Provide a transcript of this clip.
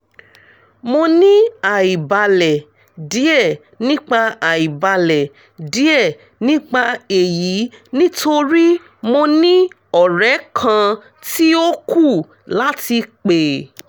mo ni aibalẹ diẹ nipa aibalẹ diẹ nipa eyi nitori mo ni ọrẹ kan ti o ku lati pe